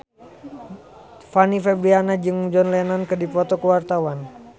Fanny Fabriana jeung John Lennon keur dipoto ku wartawan